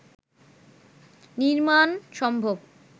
নির্মাণ সম্ভব